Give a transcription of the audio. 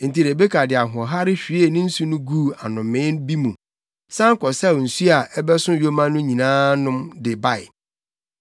Enti Rebeka de ahoɔhare hwiee ne nsu no guu anomee bi mu, san kɔsaw nsu a ɛbɛso yoma no nyinaa nom de bae.